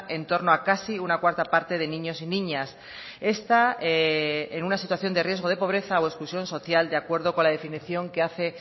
en torno a casi una cuarta parte de niños y niñas está en una situación de riesgo de pobreza o exclusión social de acuerdo con la definición que hace